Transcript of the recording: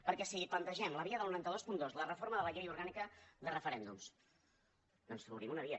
perquè si plantegem la via del nou cents i vint dos la reforma de la llei orgànica de referèndums doncs obrim una via